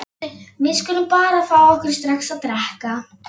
Við skulum bara fá okkur strax að drekka.